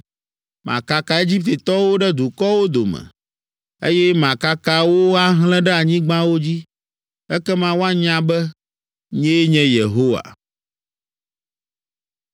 Makaka Egiptetɔwo ɖe dukɔwo dome, eye makaka wo ahlẽ ɖe anyigbawo dzi. Ekema woanya be nyee nye Yehowa.’ ”